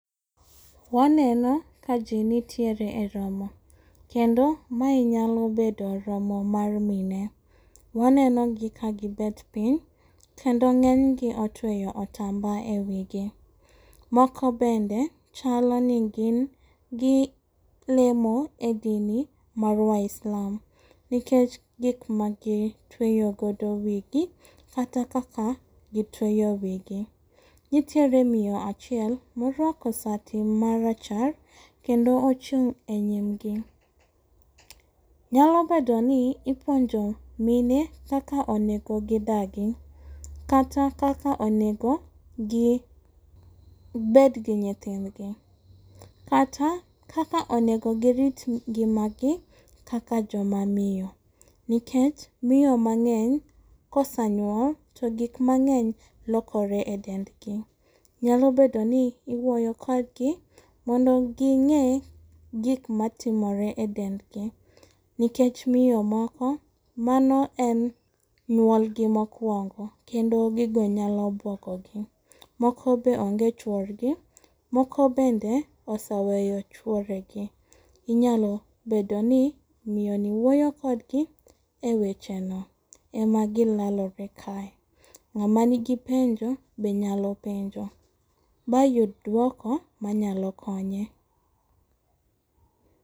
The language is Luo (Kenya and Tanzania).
Waneno ka ji nitiere eromo kendo mae nyalo bedo romo mar mine wanenogi ka gi bet piny kendo ng'enygi otweyo otamba ewigi. Moko bende chalo ni gin gi lemo e dini mar waislam. Nikech gik magi tweyo godo wigi. Kata kaka gitweyo wigi. Nitiere miyo moro achiel moruako sati mara char kendo ochung' enyimgi. Nyalo bedoni ipuonjo mine kaka onego gidagi kata kaka onego gibed gi nyithindgi, kata kaka onego girit ngimagi kaka joma miyo. Nikech miyo mang'eny kosanyuol to gik mang'eny lokore edendgi. Nyalo bedoni iwuoyo kodgi mondo gi ng'e gik matimore edendgi. Nikech miyo moko mano en nyuolgi mokuongo kendo gigo nyalo buogogi. Moko be onge chuorgi, moko bende osaweyo chuoregi. Inyalo bedoni miyoni wuoyo kodgi ewecheno ema gilalore kae. n'gama nigi penjo be nyalo penjo mayud duoko manyalo konye